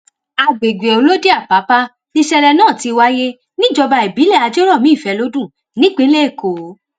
àgbègbè olodiapapa nìṣẹlẹ náà ti wáyé níjọba ìbílẹ ajèjòmiìfẹlọdún nípínlẹ èkó